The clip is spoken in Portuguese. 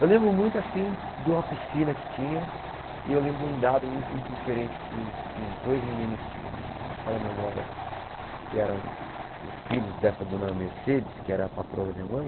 Eu lembro muito assim de uma piscina que tinha e eu lembro um dado muito diferente que os os dois meninos que me falham a memória, que eram os filhos dessa dona Mercedes, que era a patroa da minha mãe,